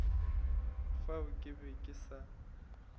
fao ke be ke sa